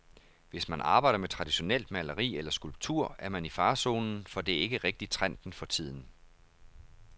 Hvis man arbejder med traditionelt maleri eller skulptur er man i farezonen, for det er ikke rigtig trenden for tiden.